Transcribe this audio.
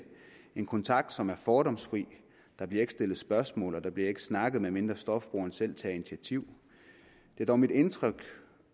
en kontakt som er fordomsfri der bliver ikke stillet spørgsmål og der bliver ikke snakket medmindre stofbrugeren selv tager initiativ det er dog mit indtryk